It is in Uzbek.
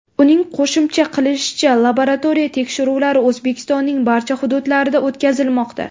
Uning qo‘shimcha qilishicha, laboratoriya tekshiruvlari O‘zbekistonning barcha hududlarida o‘tkazilmoqda.